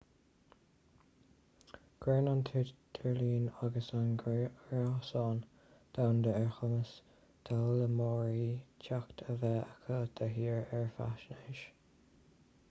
cuireann an tidirlíon agus an gréasán domhanda ar chumas d'fhoghlaimeoirí teacht a bheith acu de shíor ar fhaisnéis